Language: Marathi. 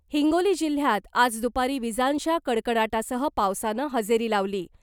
हिंगोली जिल्ह्यात आज दुपारी विजांच्या कडकडाटासह पावसानं हजेरी लावली .